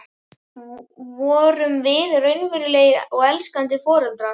Vorum við raunverulegir og elskandi foreldrar?